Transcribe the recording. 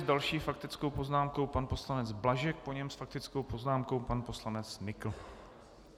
S další faktickou poznámkou pan poslanec Blažek, po něm s faktickou poznámkou pan poslanec Nykl.